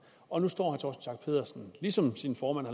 og nu står schack pedersen ligesom sin formand